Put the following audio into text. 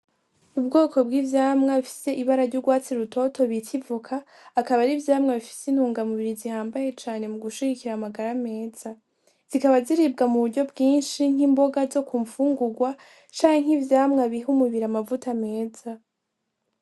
Ubwoko bwivyamwa bifise ibara ryurwatsi rutoto bita ivoka akaba ari ivyamwa bifise intunga mubiri zihambaye cane mugushigikira amagara meza zikaba ziribwa muburyo bwinshi nk'imboga zo kumfungurwa canke ivyamwa biha umubiri amavuta meza.